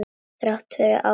Þrátt fyrir áföll.